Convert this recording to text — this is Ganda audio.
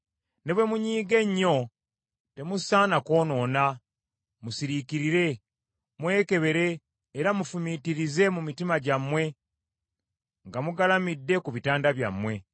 Ne bwe munyiiga ennyo, temusaana kwonoona; musiriikirire, mwekebere era mufumiitirize mu mitima gyammwe nga mugalamidde ku bitanda byammwe.